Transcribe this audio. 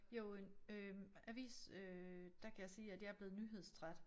Jo en øh avis øh der kan jeg sige at jeg er blevet nyhedstræt